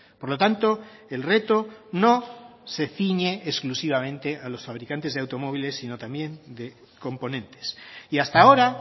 por lo tanto el reto no se ciñe exclusivamente a los fabricantes de automóviles sino también de componentes y hasta ahora